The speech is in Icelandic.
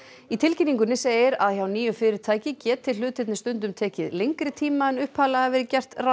í tilkynningunni segir að hjá nýju fyrirtæki geti hlutirnir stundum tekið lengri tíma en upphaflega hafi verið gert ráð